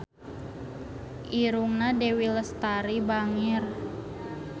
Irungna Dewi Lestari bangir